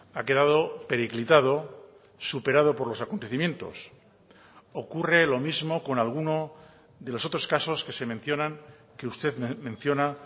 ha quedado periclitado superado por los acontecimientos ocurre lo mismo con alguno de los otros casos que se mencionan que usted menciona